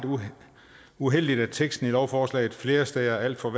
uheldigt at teksten i lovforslaget flere steder er alt for